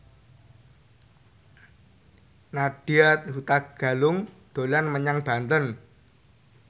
Nadya Hutagalung dolan menyang Banten